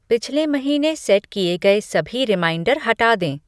पिछले महीने सेट किए गए सभी रिमाइंडर हटा दें